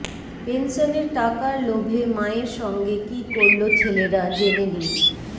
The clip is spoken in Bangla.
পেনসনের টাকার লোভে মায়ের সঙ্গে কী করল ছেলেরা জেনে নিন